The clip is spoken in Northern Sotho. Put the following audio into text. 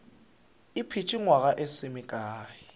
ipeetše nywaga e se mekae